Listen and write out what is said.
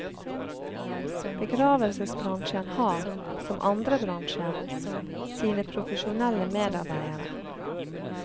Begravelsesbransjen har, som andre bransjer, sine profesjonelle medarbeidere.